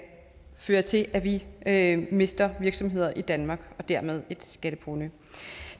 føre til at vi mister virksomheder i danmark og dermed et skatteprovenu